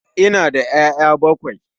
Ina da 'ya'ya bakwai